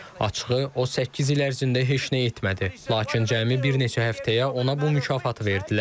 Açıqı, o səkkiz il ərzində heç nə etmədi, lakin cəmi bir neçə həftəyə ona bu mükafatı verdilər.